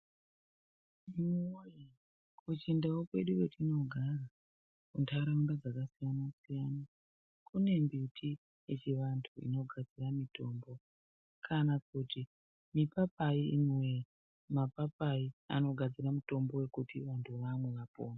Imiwoye kuChindau kwedu kwatinogara, muntaraunda dzakasiyana siyana, kune mbiti yechivantu inogadzira mitombo kana kuti mipapai. Imiwee mapayai anogadzira mitombo yekuti vantu vamwe vapore.